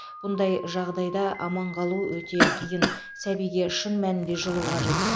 бұндай жағдайда аман қалу өте қиын сәбиге шын мәнінде жылу қажет